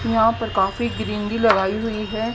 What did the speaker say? यहां पर काफी क्रीम भी लगाई हुई है।